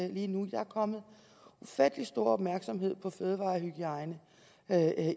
lige nu der er kommet ufattelig stor opmærksomhed på fødevarehygiejne